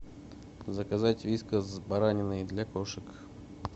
заказать вискас с бараниной для кошек